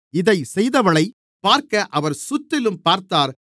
இதைச் செய்தவளைப் பார்க்க அவர் சுற்றிலும் பார்த்தார்